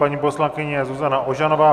Paní poslankyně Zuzana Ožanová.